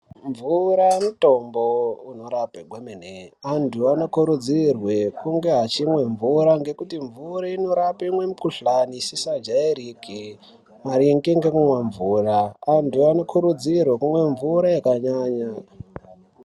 Mvura mutombo unorape kwemene antu anokuridzirwe kunge achimwe mvura ngekuti mvura inorape imwe mukuhlani isisa jairike maringe ngekumwa mvura antu anokurudzirwe kumwe mvura yakanyanya.